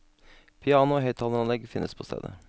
Piano og høyttaleranlegg finnes på stedet.